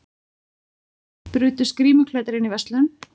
Brutust grímuklæddir inn í verslun